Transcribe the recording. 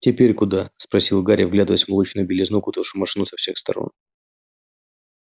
теперь куда спросил гарри вглядываясь в молочную белизну окутавшую машину со всех сторон